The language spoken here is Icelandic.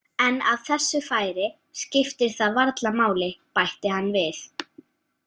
En af þessu færi skiptir það varla máli, bætti hann við.